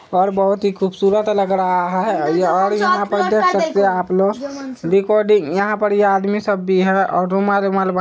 और बहोत ही खुबसुरत लग रहा है और यहाँ पे देख सकते हैं आप लोग रिकॉर्डिंग यहाँ पे ये आदमी सब भी है और रुमाल वूमाल--